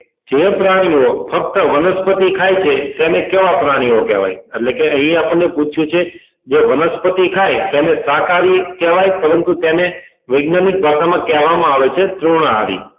જે પ્રાણીઓ ફક્ત વનસ્પતિ ખાય છે તેને કેવા પ્રાણીઓ કહેવાય એટલે કે અહી આપણને પૂછ્યું છે જે વનસ્પતિ ખાય તેને શાકાહારી કહેવાય પંરતુ તેને વૈજ્ઞાનિક ભાષા માં કહેવા માં આવે છે તૃણાહારી